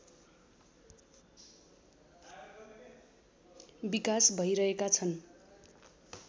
विकास भइरहेका छन